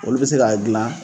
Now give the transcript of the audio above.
Olu bɛ se k'a dila